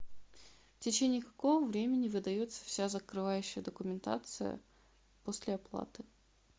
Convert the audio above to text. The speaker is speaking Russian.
в течение какого времени выдается вся закрывающая документация после оплаты